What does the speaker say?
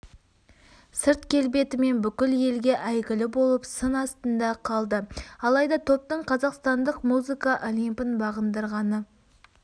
сырт келбетімен бүкіл елге әйгілі болып сын астында қалды алайда топтың қазақстандық музыка олимпін бағындырғаны